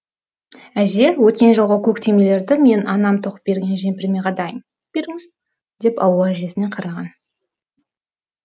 әже өткен жолғы көк түймелерді мен анам тоқып берген жемпіріме қадайын беріңіз деп алуа әжесіне қараған